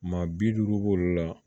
Maa bi duuru b'olu la